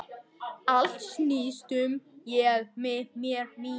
Allt snýst um Ég, mig, mér, mín.